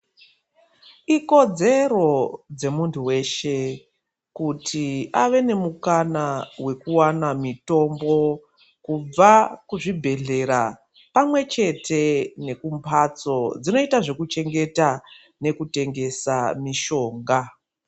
Ikodzero dzemuntu weshe kuti ave nemukana wekuwana mutombo kubva muzvibhedhlera pamwe chete nekumbatso dzinoita zvekuchengeta nekutengesa mishonga.